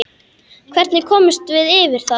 Hvernig komumst við yfir það?